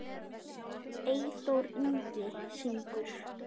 Eyþór Ingi syngur.